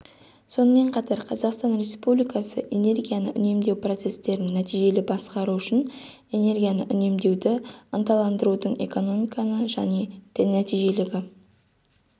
сонымен қатар қазақстан республикасы энергияны үнемдеу процесстерін нәтижелі басқару үшін энергияны үнемдеуді ынталандырудың экономиканы жаңа нәтижелілігі